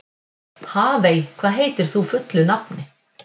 Hafey, hvað heitir þú fullu nafni?